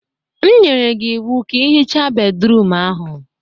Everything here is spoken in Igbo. E nyere m gị iwu ka ị hichaa bédrụum ahụ.